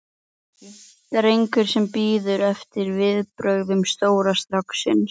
drengur sem bíður eftir viðbrögðum stóra stráksins.